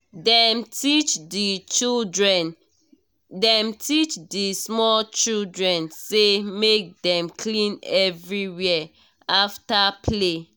dem teach the small children say make dem clean everywhere after play